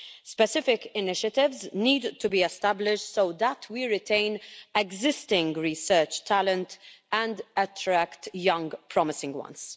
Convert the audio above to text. Specific initiatives need to be established so that we retain existing research talent and attract young promising talent.